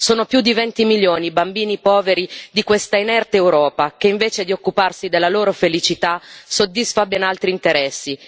Sono più di 20 milioni i bambini poveri di questa inerte Europa che, invece di occuparsi della loro felicità, soddisfa ben altri interessi.